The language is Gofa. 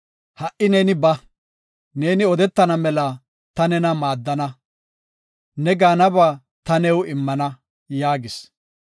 Ha77i neeni ba; neeni odetana mela ta nena maadana. Ne gaanaba ta new immana” yaagis.